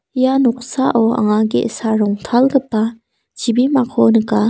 ia noksao anga ge·sa rongtalgipa chibimako nika.